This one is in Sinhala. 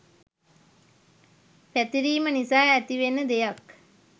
පැතිරීම නිසා ඇතිවෙන දෙයක්.